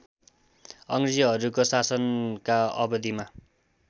अङ्ग्रेजहरूको शासनका अवधिमा